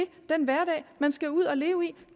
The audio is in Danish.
den hverdag man skal ud at leve i